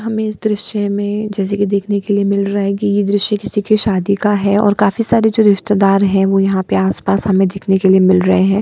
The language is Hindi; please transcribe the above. हमें इस दृश्य में जैसे कि देखने के लिए मिल रहा है की ये दृश्य किसी के शादी का है और काफी सारे जो रिश्तेदार हैं वो यहाँ पे आसपास हमें देखने के लिए मिल रहें हैं।